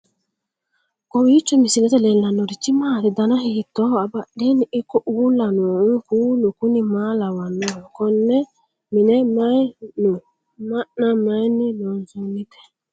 kowiicho misilete leellanorichi maati ? dana hiittooho ?abadhhenni ikko uulla noohu kuulu kuni maa lawannoho? konne mine mayi no ma'na mayinni loonsoonnite